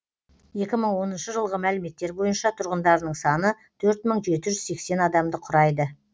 екі мың оныншы жылғы мәліметтер бойынша тұрғындарының саны төрт мың жеті жүз сексен адамды құрайды